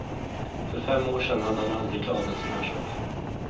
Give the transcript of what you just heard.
För fem år sedan hade han aldrig klarat en sådan här sak.